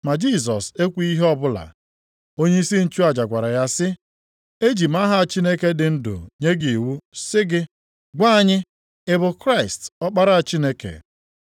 Ma Jisọs ekwughị ihe ọbụla. Onyeisi nchụaja gwara ya sị, Eji m aha Chineke dị ndụ nye gị iwu, sị gị, “gwa anyị, ị bụ Kraịst, Ọkpara Chineke?”